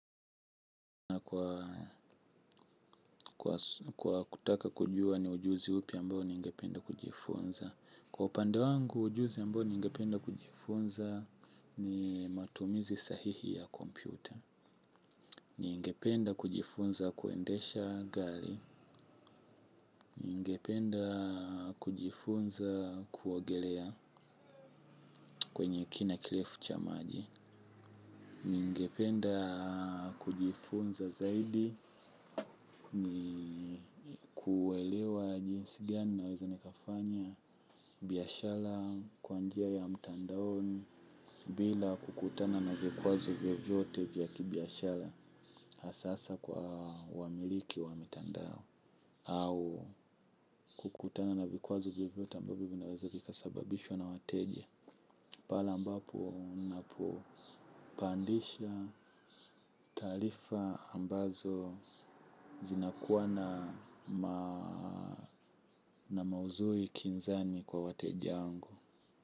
Kwa kutaka kujua ni ujuzi upi ambao ningependa kujifunza. Kwa upande wangu ujuzi ambao ningependa kujifunza ni matumizi sahihi ya kompyuta. Ningependa kujifunza kuendesha gari. Ningependa kujifunza kuogelea kwenye kina kirefu cha maji. Ningependa kujifunza zaidi kuelewa jinsi gani naweza nikafanya biashara kwa njia ya mtandaoni bila kukutana na vikwazo vyovyote vya kibiashara hasaa kwa wamiliki wa mtandao au kukutana na vikwazo vyovyote ambavyo vinaweza vika sababishwa na wateje pale ambapo napo pandisha tarifa ambazo zinakuwa na mauzui kinzani kwa wateje angu.